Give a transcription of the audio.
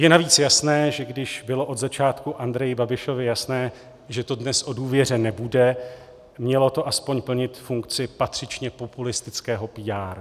Je navíc jasné, že když bylo od začátku Andreji Babišovi jasné, že to dnes o důvěře nebude, mělo to aspoň plnit funkci patřičně populistického PR.